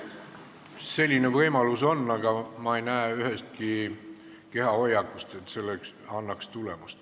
Selline võimalus on, aga ma ei näe ühestki kehahoiakust, et see annaks tulemust.